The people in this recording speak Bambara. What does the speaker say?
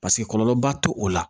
Paseke kɔlɔlɔba to o la